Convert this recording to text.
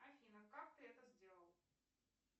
афина как ты это сделала